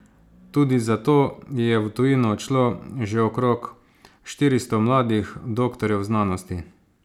Tudi zato je v tujino odšlo že okrog štiristo mladih doktorjev znanosti.